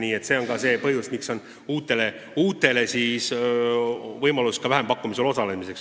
Nii et ka see on põhjus, miks antakse uutele tegijatele võimalus vähempakkumisel osaleda.